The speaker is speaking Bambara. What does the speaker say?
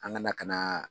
An kana ka na